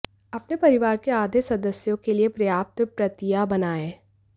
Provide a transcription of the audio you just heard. अपने परिवार के आधे सदस्यों के लिए पर्याप्त प्रतियां बनाएं